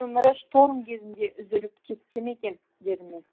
өмірі шторм кезінде үзіліп кетті ме екен дедім мен